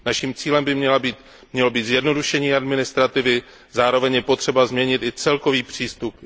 Naším cílem by mělo být zjednodušení administrativy, zároveň je potřeba změnit i celkový přístup.